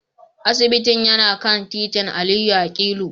Asibitin yana kan titin Aliyu akilu